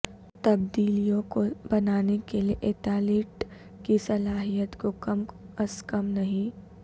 تبدیلیوں کو بنانے کے لئے ایتالٹ کی صلاحیت کو کم از کم نہیں